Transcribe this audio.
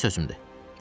Ciddi sözümdür.